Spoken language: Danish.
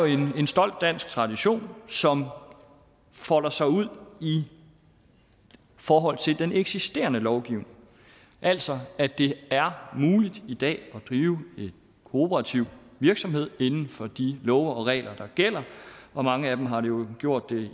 jo en stolt dansk tradition som folder sig ud i forhold til den eksisterende lovgivning altså at det er muligt i dag at drive en kooperativ virksomhed inden for de love og regler der gælder og mange af dem har jo gjort det